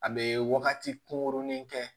A bɛ wagati kunkurunin kɛ